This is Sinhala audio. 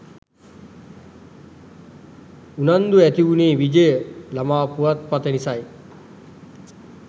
උනන්දුව ඇති උනේ විජය ළමා පුවත්පත නිසයි